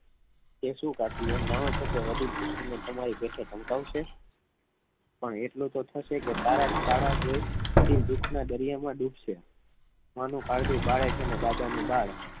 એ શું કાકી એમ જાણો છો કે વડીલ કુસુમ તમારી પેઠે ધમકાવશે પણ એટલું તો થશે કે તારા શાળા જોડે વડીલ દુઃખના દરિયા માં ડુબ સે બાનું કાળજું બાળે છે અને દાદા નું બાળ